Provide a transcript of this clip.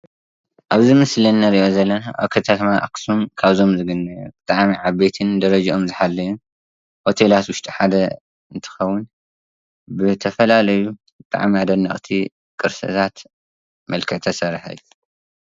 እብዚ ምስሊ እንሪኦ ዘለና አብ ከተማ አክሱም ካብዞም ዝግነዩ ብጣዕሚ ዓበይትን ደረጅኦም ዝሓለውን ሆቴላት ዉሽጢ ሓደ እንትኸውን ብተፈላለዩ ብጣዕሚ አደንቅቲ ቅርስታት መልክዕ ዝተሰርሐ እዩ።